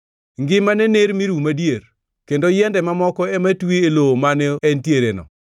Ngimane ner mi rum adier, kendo yiende mamoko ema twi e lowo mane entiereno.